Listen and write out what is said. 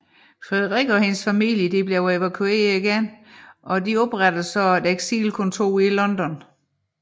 Frederikke og hendes familie blev evakueret igen og oprettede et eksilkontor i London